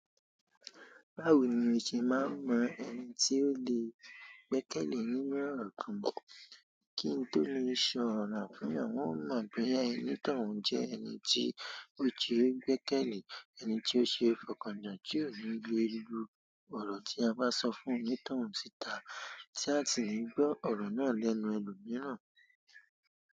Báwo ni o ṣe máa mọ ẹni tí ó lè gbẹ́kẹ̀lé nínú ọ̀rọ̀ kan kí n tó lè sọ ọ̀rọ̀ fún wọn? Wọ́n mọ̀ boya onitoun jẹ́ ẹni tí o se gbẹ́kẹ̀lé ẹni tí ó ṣe é fọkànjá, tí ò ní le lu ọ̀rọ̀ tí a bá sọ fún onitoun síta, tí a sì ní gbọ́ ọ̀rọ̀ náà lẹ́nu ẹlòmíràn.